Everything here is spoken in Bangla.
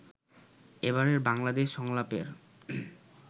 এবারের বাংলাদেশ সংলাপের